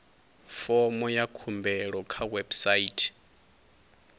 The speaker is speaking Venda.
fomo ya khumbelo kha website